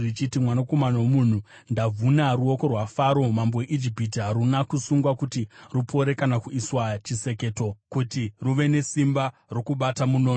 “Mwanakomana womunhu, ndavhuna ruoko rwaFaro mambo weIjipiti. Haruna kusungwa kuti rupore kana kuiswa chiseketo kuti ruve nesimba rokubata munondo.